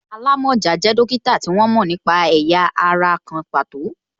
Alamọja jẹ dókítà tí wọ́n mo nípa ẹ̀yà ara kan pàtó